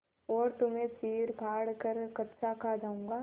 और तुम्हें चीरफाड़ कर कच्चा खा जाऊँगा